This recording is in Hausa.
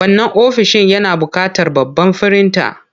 Wannan ofishin yana buƙatar babban firinta.